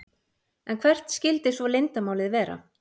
En hvert skyldi svo leyndarmálið vera?